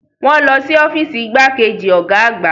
Wọ́n lọ sí ọ́fíìsì igbákejì ọ̀gá àgbà.